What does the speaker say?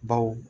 Baw